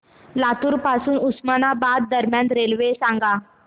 लातूर पासून उस्मानाबाद दरम्यान रेल्वे सांगा